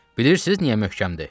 Bilirsiniz niyə möhkəmdir?